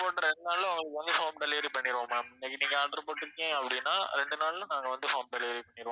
போட்ட ரெண்டு நாள்ல உங்களுக்கு வந்து home delivery பண்ணிடுவோம் ma'am இன்னைக்கு நீங்க order போட்டிங்க அப்படின்னா ரெண்டு நாள்ல நாங்க வந்து home delivery பண்ணிடுவோம்